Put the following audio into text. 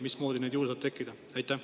Mismoodi neid juurde saab tekkida?